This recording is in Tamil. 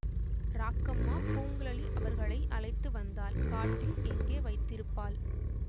ராக்கம்மா பூங்குழலி அவர்களை அழைத்து வந்தால் காட்டில் எங்கே வைத்திருப்பாள்